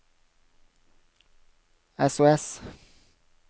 sos